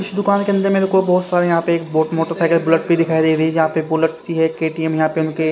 इस दुकान के अंदर मेरे को बहोत सारे यहां पे एक बहोत मोटरसाइकिल बुलेट पर दिखाई दे रही जहां पर बुलेट की है के_टी_एम यहां पर उनके--